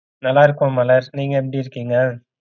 நல்லா இருக்கோம் மலர் நீங்க எப்படி இருக்கீங்க?